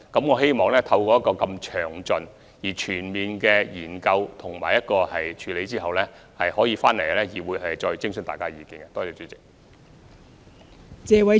我希望將這項詳細而全面的研究及有關的處理手法提交議會，徵詢大家的意見。